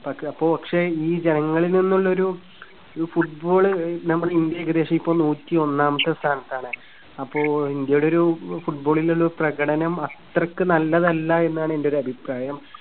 പക്ഷേ ഈ ജനങ്ങളിൽനിന്നുള്ള ഒരു, ഒരു football നമ്മുടെ ഇന്ത്യ ഏകദേശം ഇപ്പോ നൂറ്റിയൊന്നാമത്തെ സ്ഥാനത്താണ്. അപ്പോ ഇന്ത്യയുടെ ഒരു football ൽ ഉള്ള പ്രകടനം അത്രയ്ക്ക് നല്ലതല്ല എന്നാണ് എന്റെയൊരു അഭിപ്രായം.